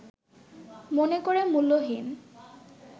মনে করে মূল্যহীন